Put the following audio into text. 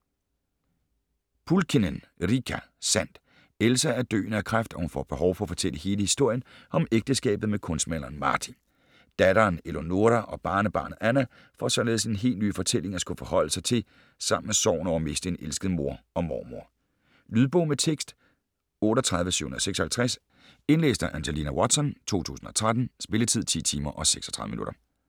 Pulkkinen, Riikka: Sandt Elsa er døende af kræft, og hun får behov for at fortælle hele historien om ægteskabet med kunstmaleren Martti. Datteren Eleonoora og barnebarnet Anna får således en helt ny fortælling at skulle forholde sig til sammen med sorgen over at miste en elsket mor og mormor. Lydbog med tekst 38756 Indlæst af Angelina Watson, 2013. Spilletid: 10 timer, 36 minutter.